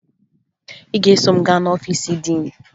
Ị ga-eso m gaa n'ọfiisi diin